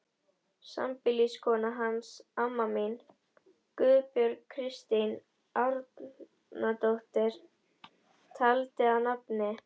Sambýliskona hans, amma mín, Guðbjörg Kristín Árnadóttir, taldi að nafni